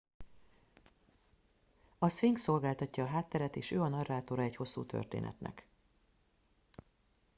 a szfinx szolgáltatja a hátteret és ő a narrátora egy hosszú történetnek